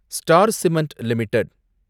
star cement limited